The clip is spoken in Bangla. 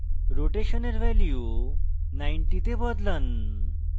rotation এর value 90 তে বদলান